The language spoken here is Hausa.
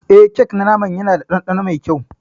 Eh kek na naman Yana da dandano mai kyau.